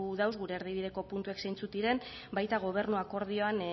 dauz gure erdibideko puntuek zeintzuk diren baita gobernu akordioan